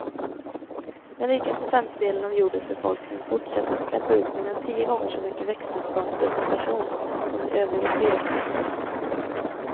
Den rikaste femtedelen av jordens befolkning fortsätter att släppa ut mer än tio gånger så mycket växthusgaser per person som de övriga fyra femtedelarna.